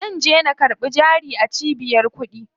Zanje na karɓi jari a cibiyar kuɗi.